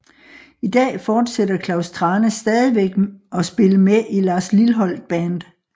I dag forsætter Klaus Thrane stadigvæk at spille med i Lars Lilholt Band